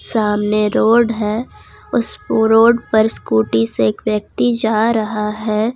सामने रोड है उस रोड पर स्कूटी से एक व्यक्ति जा रहा है ।